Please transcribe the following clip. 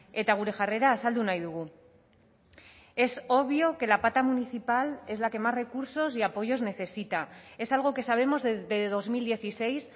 eta gure jarrera azaldu nahi dugu es obvio que la pata municipal es la que más recursos y apoyos necesita es algo que sabemos desde dos mil dieciséis